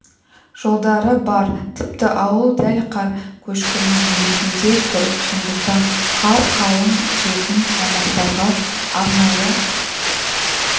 жолдары бар тіпті ауыл дәл қар көшкінінің өтінде тұр сондықтан қар қалың түсетін аумақтарға арнайы